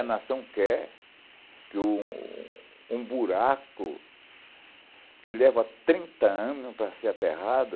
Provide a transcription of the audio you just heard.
A nação quer que um um buraco que leva trinta anos para ser aterrado,